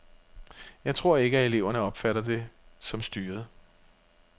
Jeg tror ikke, at eleverne opfatter det som styret.